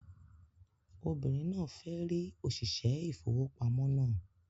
Obìnrin náà fẹ́ rí òṣìṣẹ́ ìfowópamọ́ náà